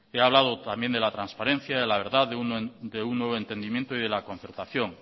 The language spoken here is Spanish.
he hablado también de la transparencia de la verdad de un nuevo entendimiento y de la concertación